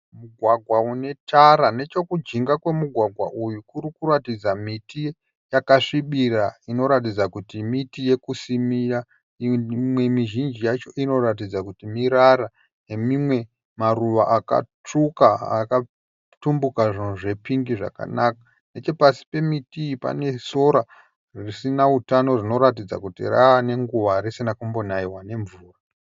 Mugwagwa unetara, nechokujinga kwemugwagwa uyu kurikuratidza miti yakasvibira inoratidza kuti miti yekusimira. Imwe mizhinji yacho inoratidza kuti mirara nemimwe maruva akatsvuka akatumbuka zvunhu zvepingi zvakanaka. Nechepasi pemiti iyi panesora risina utano zvinoratidza kuti ravanenguva risina kumbonaiwa nemvura.